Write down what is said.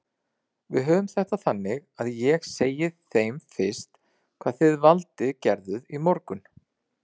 Við höfum þetta þannig að ég segi þeim fyrst hvað þið Valdi gerðuð í morgun.